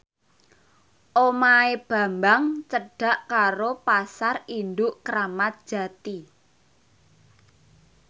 omahe Bambang cedhak karo Pasar Induk Kramat Jati